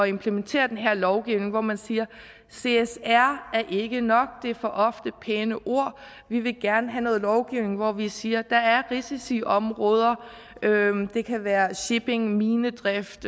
implementere den her lovgivning hvor man siger csr er ikke nok det er for ofte bare pæne ord vi vil gerne have noget lovgivning hvor vi siger der er risikoområder det kan være shipping minedrift